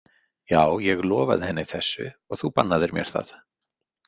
Já, ég lofaði henni þessu og þú bannaðir mér það